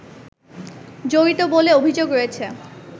জড়িত বলে অভিযোগ রয়েছে